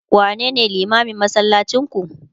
wane ne limamin masallacin ku?